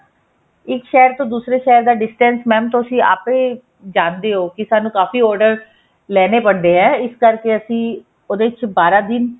ਇੱਕ ਸ਼ਹਿਰ ਤੋਂ ਦੂਜੇ ਸ਼ਹਿਰ ਦਾ distance mam ਤੁਸੀਂ ਆਪੇ ਜਾਣਦੇ ਹੋ ਕੀ ਸਾਨੂੰ ਕਾਫ਼ੀ order ਲੈਣੇ ਪੈਂਦੇ ਹੈ ਇਸ ਕਰਕੇ ਅਸੀਂ ਉਹਦੇ ਵਿੱਚ ਬਾਰਾਂ ਦਿਨ